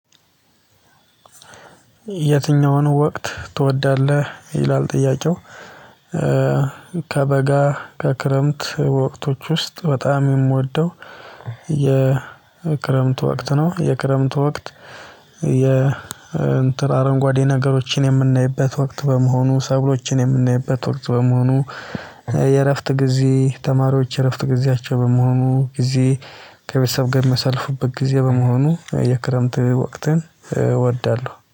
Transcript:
የትኛውን ወቅት ትወዳለህ ይላል ጥያቄው? ከበጋ ከክረምት ወቅቶች ውስጥ በጣም የምወደው የክረምት ወቅት ነው የክረምት ወቅት። የእንትን አረንጓዴ ነገሮችን የምናይበት ወቅት በመሆኑ ሰብሎችን የምንይበት ወቅት በመሆኑ። የእረፍት ጊዜ ተማሪዎች የእረፍት ጊዜያቸው በመሆኑ ጊዜ ከቤተሰብ ጋር የሚያሳልፉበት ጊዜ በመሆኑ የክረምት ወቅትን እወዳለሁ